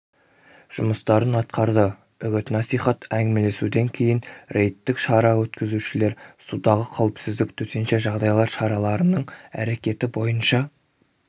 жұмыстарын атқарды үгіт-насихат әңгімелесуден кейін рейдтік шара өткізушілер судағы қауіпсіздік төтенше жағдайлар шараларының әрекеті бойынша